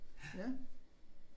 Ja